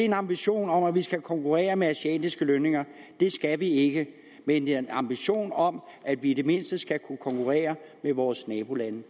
en ambition om at vi skal konkurrere med asiatiske lønninger det skal vi ikke men det er en ambition om at vi i det mindste skal kunne konkurrere med vores nabolande